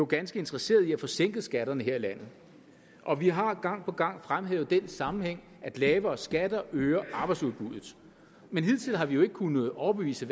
ganske interesserede i at få sænket skatterne her i landet og vi har gang på gang fremhævet den sammenhæng at lavere skatter øger arbejdsudbuddet men hidtil har vi jo kunnet overbevise